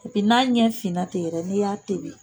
Epi n'a ɲɛ finna ten yɛrɛ n'i y'a tebi